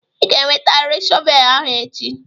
Ị ga-ewetarịrị shọvel ahụ echi!